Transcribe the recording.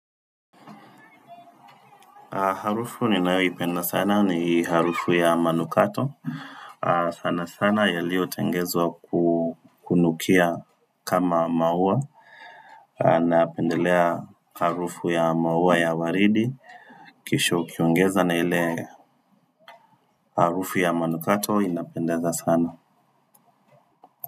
Harufu ninaipenda sana ni harufu ya manukato. Sana sana ya lio tengezwa kukunukia kama maua napendelea harufu ya maua ya waridi. Kisho ukiongeza na ile harufu ya manukato inapendeza sana.